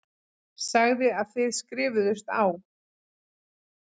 Sagði að þið skrifuðust á.